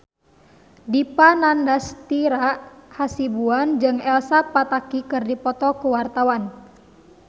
Dipa Nandastyra Hasibuan jeung Elsa Pataky keur dipoto ku wartawan